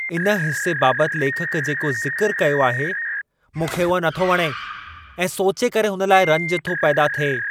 इन हिसे बाबति लेखक जेको ज़िकरु कयो आहे, मूंखे उहो नथो वणे ऐं सोचे करे हुन लाइ रंज थो पैदा थिए।